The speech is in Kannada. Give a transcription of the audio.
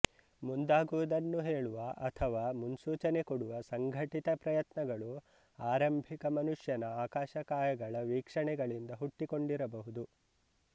ಮುಂದಾಗುವುದನ್ನು ಹೇಳುವ ಅಥವಾ ಮುನ್ಸೂಚನೆ ಕೊಡುವ ಸಂಘಟಿತ ಪ್ರಯತ್ನಗಳು ಆರಂಭಿಕ ಮನುಷ್ಯನ ಆಕಾಶಕಾಯಗಳ ವೀಕ್ಷಣೆಗಳಿಂದ ಹುಟ್ಟಿಕೊಂಡಿರಬಹುದು